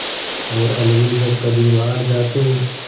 और अलगू जब कभी बाहर जाते